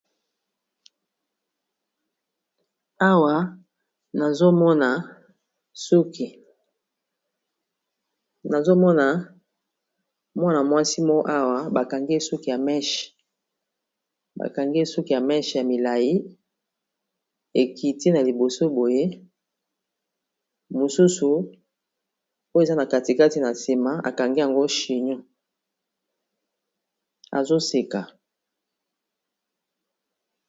Nazomona mwana-mwasi mo awa bakangi suki ya meshe ya milai, ekiti na liboso boye mosusu oyo eza na katikati na nsima akangi yango chino azoseka